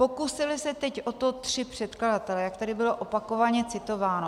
Pokusili se teď o to tři předkladatelé, jak tady bylo opakovaně citováno.